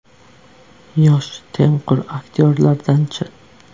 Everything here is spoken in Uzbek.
Yosh, tengqur aktyorlardan-chi?